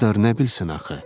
Qızlar nə bilsin axı?